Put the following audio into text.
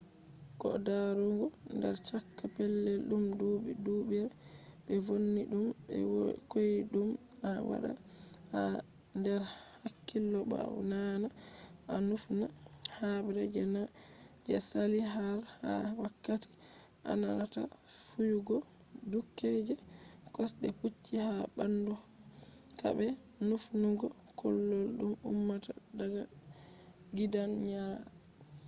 ko darugo nder chaka pellel dum dubi-dubure be vonni dum be koydum a wadda ha der hakkilo bo a naana a nufna habre je nane je saali har ha wakati ananata fiyugo duuke je kosde pucci ha bandu ka'a be nufnugo kullol dum ummata daga gidanyaari